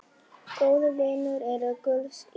Góðir vinir eru gulls ígildi.